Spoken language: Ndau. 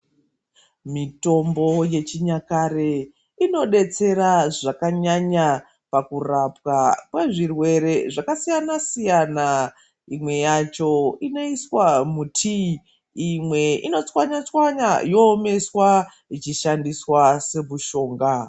Mitombo yechinyakare inodetsera zvakanyanya kurapwa kwezvirwere zvakasiyana siyana imwe yacho inoiswa mutii imwe inochwanyachwanya yoomeswa yoshandiswa semushonga.